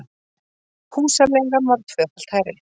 Húsaleigan var tvöfalt hærri